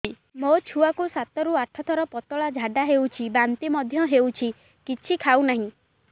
ମୋ ଛୁଆ କୁ ସାତ ରୁ ଆଠ ଥର ପତଳା ଝାଡା ହେଉଛି ବାନ୍ତି ମଧ୍ୟ୍ୟ ହେଉଛି କିଛି ଖାଉ ନାହିଁ